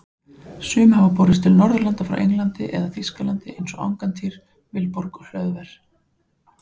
Sum hafa borist til Norðurlanda frá Englandi eða Þýskalandi eins og Angantýr, Vilborg og Hlöðver.